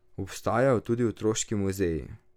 Obstajajo tudi otroški muzeji.